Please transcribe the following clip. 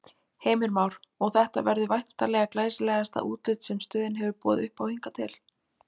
Heimir Már: Og þetta verður væntanlega glæsilegasta útlit sem stöðin hefur boðið uppá hingað til?